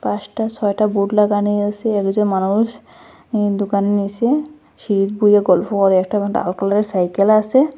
পাঁচটা ছয়টা বোর্ড লাগানি আসে একজন মানুষ ইন দোকানের নিসে সিঁড়ি বইয়া গল্ফো করে একটা আবার ডাল কালারের সাইকেল আসে।